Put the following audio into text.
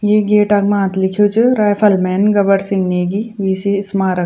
ये गेट क माथ लिख्युं च राइफलमैन गबर सिंह नेगी वीसी स्मारक।